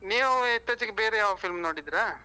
ನೀವು ಇತ್ತೀಚೆಗೆ ಬೇರೆ ಯಾವ film ನೋಡಿದ್ರ?